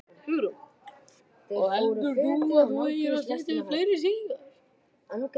Hugrún: Og heldur þú að þú eigir eftir að setja upp fleiri sýningar?